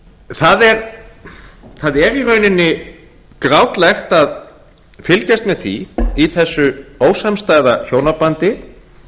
það er í rauninni grátlegt að fylgjast með því í þessu ósamstæða hjónabandi